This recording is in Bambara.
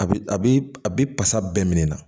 A bi a bi a bi pasa bɛɛ minɛ na